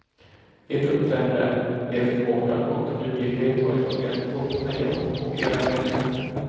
Ert uppträdande, er förmåga och duglighet har imponerat både på mig och på era medfångar.